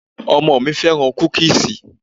Ọmọ mi féràn kúkíísì.